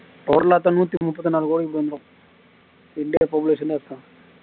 நிதி மும்பத்துநாலு கோடி வந்துரு இந்தியா population அதுதான்